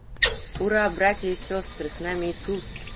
ура братья и сестры с нами иисус